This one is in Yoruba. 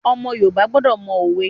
Ọmọ Yorùbá gbọdọ̀ mọ òwe.